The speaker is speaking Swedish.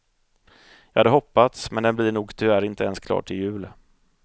Jag hade hoppats men den blir nog tyvärr inte ens klar till jul.